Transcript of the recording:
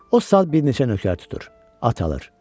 O sağ bir neçə nökər tutur, at alır.